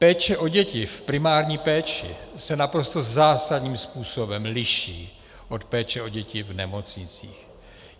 Péče o děti v primární péči se naprosto zásadním způsobem liší od péče o děti v nemocnicích.